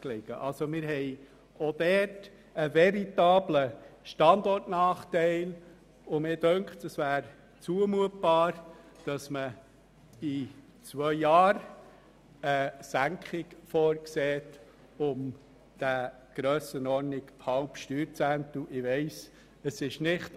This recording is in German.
Wir haben also auch dort einen veritablen Standortnachteil, und mir scheint, es wäre zumutbar, in zwei Jahren eine Senkung in der Grössenordnung von einem halben Steuerzehntel vorzusehen.